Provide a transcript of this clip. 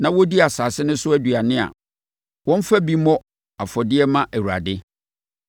na wɔdi asase no so aduane a, wɔmfa bi mmɔ afɔdeɛ mma Awurade.